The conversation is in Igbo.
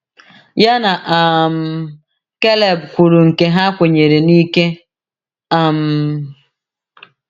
Ya na um Kaleb kwuru nke ha kwenyere n’ike. um